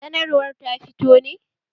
Sanarwar ta fito ne?